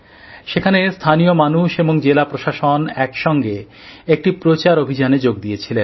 সেখানে স্থানীয় মানুষ এবং জেলা প্রশাসন একসঙ্গে একটি প্রচার অভিযানে যোগ দিয়েছিলেন